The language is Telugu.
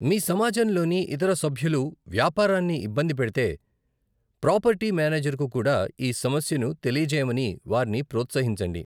మీ సమాజంలోని ఇతర సభ్యులు వ్యాపారాన్ని ఇబ్బంది పెడితే, ప్రాపర్టీ మేనేజర్కు కూడా ఈ సమస్యను తెలియజేయమని వారిని ప్రోత్సహించండి.